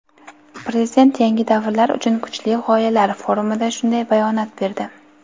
Prezident "Yangi davrlar uchun kuchli g‘oyalar" forumida shunday bayonot berdi.